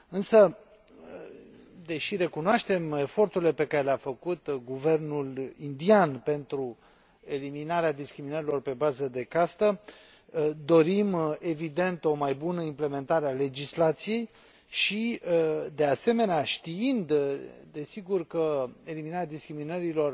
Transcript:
Însă, deși recunoaștem eforturile pe care le a făcut guvernul indian pentru eliminarea discriminărilor pe bază de castă, dorim, evident, o mai bună implementare a legislației și, de asemenea, știind, desigur, că eliminarea discriminărilor